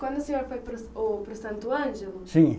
Quando o senhor foi para o, ô, para o Santo Ângelo? Sim